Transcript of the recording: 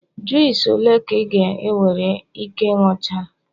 juice ole ka ị ga-ewere Ike ịnuchala?